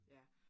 Ja